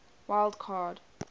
wild card